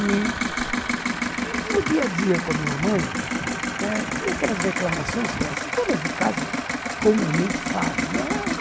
E no dia-a-dia com a minha mãe eh, tinha aquelas reclamações que todas de casa comumente fazem, né?